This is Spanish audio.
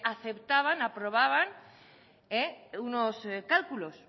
aceptaban aprobaban unos cálculos